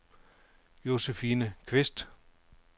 Josephine Qvist